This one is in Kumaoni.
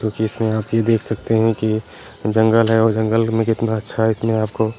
क्यूँकि इसमें आप देख सकते हैं की जंगल है और जंगल में कितना अच्छा इसमें आपको --